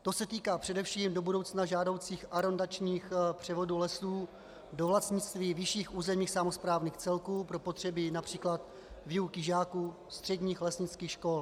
To se týká především do budoucna žádoucích arondačních převodů lesů do vlastnictví vyšších územních samosprávných celků pro potřeby například výuky žáků středních lesnických škol.